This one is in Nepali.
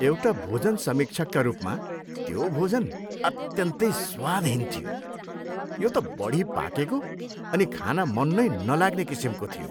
एउटा भोजन समीक्षकका रूपमा, त्यो भोजन अत्यन्तै स्वादहीन थियो। यो त बढी पाकेको अनि खान मन नै नलाग्ने किसिमको थियो।